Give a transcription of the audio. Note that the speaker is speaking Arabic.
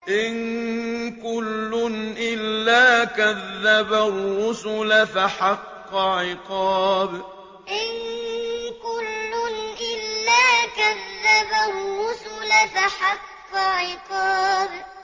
إِن كُلٌّ إِلَّا كَذَّبَ الرُّسُلَ فَحَقَّ عِقَابِ إِن كُلٌّ إِلَّا كَذَّبَ الرُّسُلَ فَحَقَّ عِقَابِ